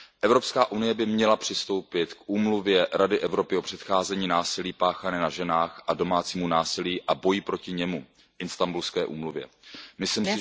Evropská unie by měla přistoupit k Úmluvě Rady Evropy o předcházení násilí páchanému na ženách a domácímu násilí a boji proti němu Myslím